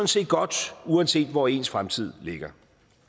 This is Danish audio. set godt uanset hvor ens fremtid ligger